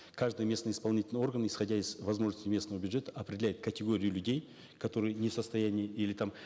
каждый местный исполнительный орган исходя из возможностей местного бюджета определяет категорию людей которые не в состоянии или там